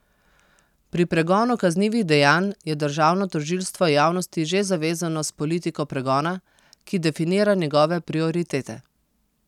Pri pregonu kaznivih dejanj je državno tožilstvo javnosti že zavezano s politiko pregona, ki definira njegove prioritete.